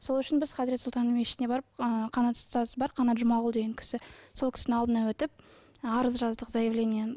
сол үшін біз хазірет сұлтанның мешітіне барып ы қанат ұстаз бар қанат жұмағұл деген кісі сол кісінің алдынан өтіп арыз жаздық заявлениені